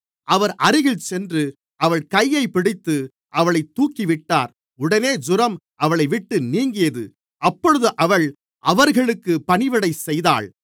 அவர் அருகில் சென்று அவள் கையைப் பிடித்து அவளைத் தூக்கிவிட்டார் உடனே ஜூரம் அவளைவிட்டு நீங்கியது அப்பொழுது அவள் அவர்களுக்குப் பணிவிடைசெய்தாள்